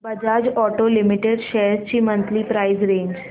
Bajaj auto limited shares ची monthly price range